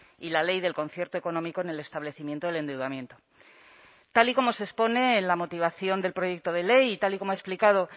y la ley del concierto económico en el establecimiento del endeudamiento tal y como se expone en la motivación del proyecto de ley y tal y como ha explicado